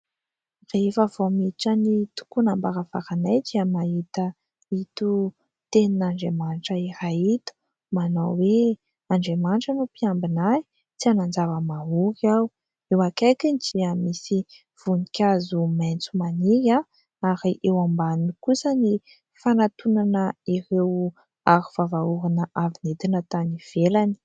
Rehefa vao miditra ny tokonam-baravaranay dia mahita ito tenin'Andriamanitra iray ito manao hoe :" Andriamanitra no mpiambina ahy, tsy hanan-java-mahaory aho". Eo akaikiny dia misy voninkazo maitso maniry ary eo ambaniny kosa ny fanantonana ireo arovava orona avy nentina tany ivelany.